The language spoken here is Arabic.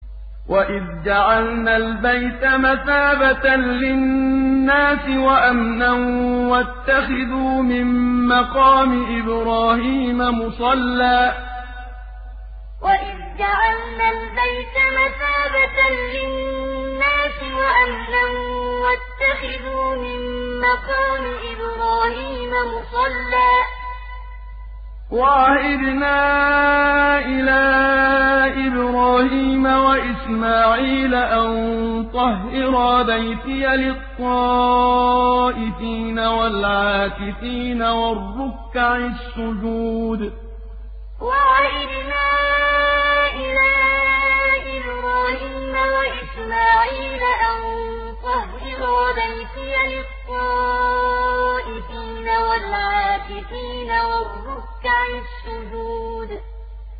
وَإِذْ جَعَلْنَا الْبَيْتَ مَثَابَةً لِّلنَّاسِ وَأَمْنًا وَاتَّخِذُوا مِن مَّقَامِ إِبْرَاهِيمَ مُصَلًّى ۖ وَعَهِدْنَا إِلَىٰ إِبْرَاهِيمَ وَإِسْمَاعِيلَ أَن طَهِّرَا بَيْتِيَ لِلطَّائِفِينَ وَالْعَاكِفِينَ وَالرُّكَّعِ السُّجُودِ وَإِذْ جَعَلْنَا الْبَيْتَ مَثَابَةً لِّلنَّاسِ وَأَمْنًا وَاتَّخِذُوا مِن مَّقَامِ إِبْرَاهِيمَ مُصَلًّى ۖ وَعَهِدْنَا إِلَىٰ إِبْرَاهِيمَ وَإِسْمَاعِيلَ أَن طَهِّرَا بَيْتِيَ لِلطَّائِفِينَ وَالْعَاكِفِينَ وَالرُّكَّعِ السُّجُودِ